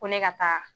Ko ne ka taa